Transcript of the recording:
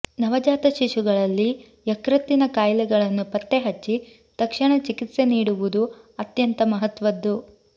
ನವಜಾತ ಶಿಶುಗಳಲ್ಲಿ ಯಕೃತ್ತಿನ ಕಾಯಿಲೆಗಳನ್ನು ಪತ್ತೆ ಹಚ್ಚಿ ತಕ್ಷಣ ಚಿಕಿತ್ಸೆ ನೀಡುವುದು ಅತ್ಯಂತ ಮಹತ್ವದ್ದು